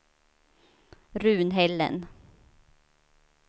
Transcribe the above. Runhällen